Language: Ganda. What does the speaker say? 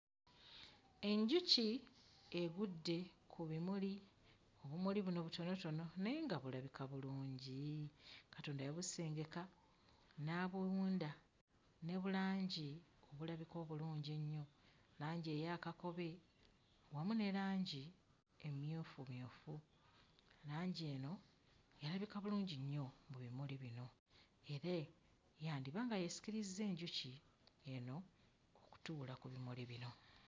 Enjuki egudde ku bimuli, obumuli buno butonotono naye nga bulabika bulungi, Katonda yabuseengeka n'abuwunda ne bulangi obulabika obulungi ennyo, langi eya kakobe wamu ne langi emmyufumyufu, langi eno yalabika bulungi nnyo mu bimuli bino era yandiba nga yeesikirizza enjuki eno okutuula ku bimuli bino.